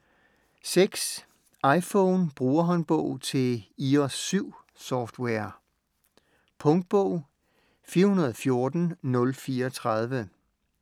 iPhone Brugerhåndbog til iOS 7-software Punktbog 414034